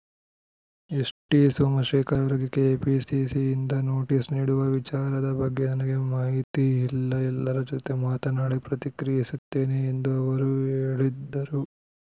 ST Somashekar ಅವರಿಗೆ ಕೆಪಿಸಿಸಿಯಿಂದ notice ನೀಡುವ ವಿಚಾರದ ಬಗ್ಗೆ ನನಗೆ ಮಾಹಿತಿ ಇಲ್ಲ ಎಲ್ಲರ ಜೊತೆ ಮಾತನಾಡಿ ಪ್ರತಿಕ್ರಿಯಿಸುತ್ತೇನೆ ಎಂದು ಅವರು ಹೇಳಿದರು